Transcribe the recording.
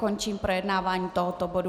Končím projednávání tohoto bodu.